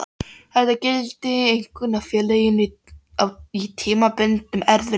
Þetta gildir einkum ef félagið á í tímabundnum erfiðleikum.